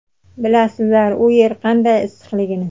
Bilasizlar u yer qanday issiqligini.